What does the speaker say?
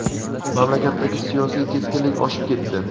mamlakatdagi siyosiy keskinlik oshib ketdi.